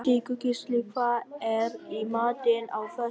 Sigurgísli, hvað er í matinn á föstudaginn?